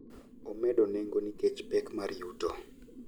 omedo nengo nikech pek mar yuto